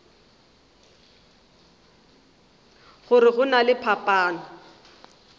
gore go na le phapano